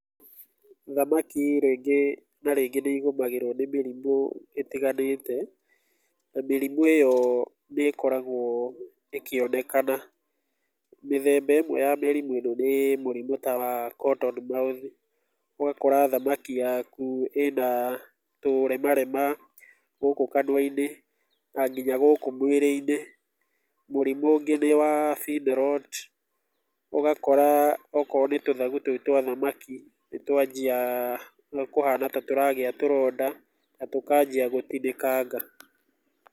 Thamaki rĩngĩ na rĩngĩ nĩigũmagĩrwo nĩ mĩrimũ ĩtiganĩte, na mĩrimũ ĩyo nĩkoragwo ĩkĩonekana, mĩthemba ĩmwe ya mĩrimũ ĩno nĩ mũrimũ wa cotton mouth ũgakora thamaki yaku ĩna tũremarema gũkũ kanuainĩ na nginya gũkũ mwĩrĩinĩ, mũrimũ ũngĩ nĩ wa fin rot ũgakora tũthagu twa thamaki nĩtwanjia kũhana ta tũragĩa tũronda na tũkanjia gũtinĩkanga.